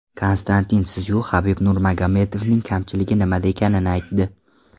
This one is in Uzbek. Konstantin Szyu Habib Nurmagomedovning kamchiligi nimada ekanini aytdi.